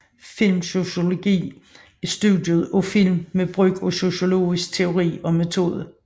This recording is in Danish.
Filmsociologi er studiet af film med brug af sociologisk teori og metode